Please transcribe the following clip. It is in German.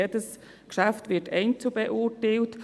Jedes Geschäft wird einzeln beurteilt.